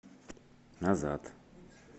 назад